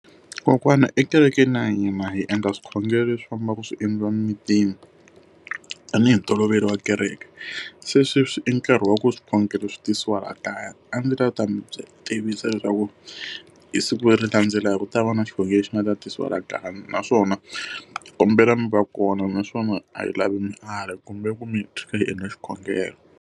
Kokwana ekerekeni ya hina hi endla swikhongelo leswi fambaka swi endliwa emitini tanihi ntolovelo wa kereke. Se sweswi i nkarhi wa ku swikhongelo swi tisiwa laha kaya. A ndzi ta lava ku ta mi tivisa leswaku hi siku leri landzelaka ku ta va na xikhongelo lexi xi nga ta tisiwa laha kaya. Naswona ni kombela mi va kona, naswona a hi lavi mali hi kombela mi hi hi endla xikhongelo.